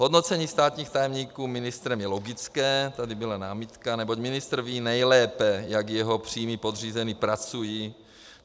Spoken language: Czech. Hodnocení státních tajemníků ministrem je logické, tady byla námitka, neboť ministr ví nejlépe, jak jeho přímí podřízení pracují.